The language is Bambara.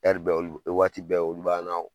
bɛ waati bɛ olu b'an na